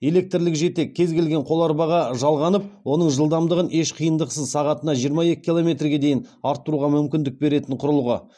электрлікжетек кез келген қоларбаға жалғанып оның жылдамдығын еш қиындықсыз сағатына жиырма екі километрге дейін арттыруға мүмкіндік беретін құрылғы